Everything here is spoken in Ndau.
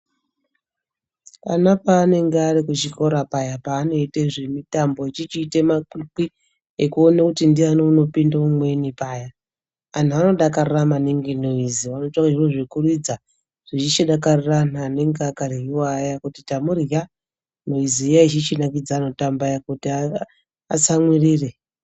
Ana paanonga Ari kuchikora paya panoite zvimitambo echichiite makwikwi ekuona kuti ndiani unopinda umweni paya anhu anodakarira maningi noizi oitawo zviro zvekuridza echichidakarira anhu anenge akaryiwa aya kuti tamurya noizi iyi ichichinakidza anotamba aya kuti atsamwirire.